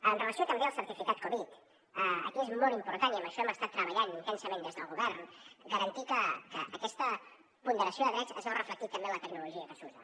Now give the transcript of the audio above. amb relació també al certificat covid aquí és molt important i en això hem estat treballant intensament des del govern garantir que aquesta ponderació de drets es veu reflectida també en la tecnologia que s’usa